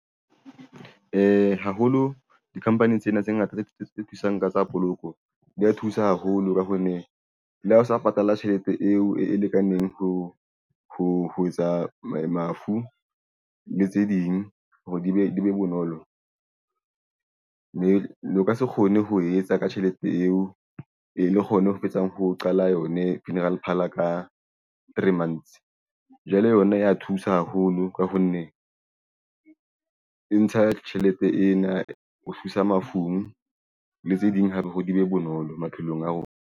Haholo di-company tsena tse ngata tse thusang ka tsa poloko di ya thusa haholo ka hoo ne le ha o sa patala tjhelete eo e lekaneng ho etsa mafu le tse ding hore di be bonolo mme le o ka se kgone ho etsa ka tjhelete eo e le kgone ho fetsa ho qala yone funeral parlour ka three months. Jwale yona ya thusa haholo ka ho nne ho ntsha tjhelete ena ho thusa mafung le tse ding hape hore di be bonolo maphelong a rona.